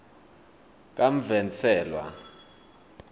kamvenselwa